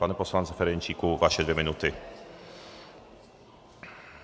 Pane poslanče Ferjenčíku, vaše dvě minuty.